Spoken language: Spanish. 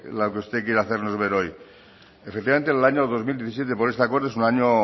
la que usted quiere hacernos ver hoy efectivamente en el año dos mil diecisiete por ese acuerdo es un año